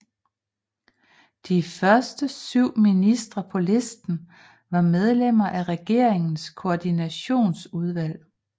De første 7 ministre på listen var medlemmer af Regeringens Koordinationsudvalg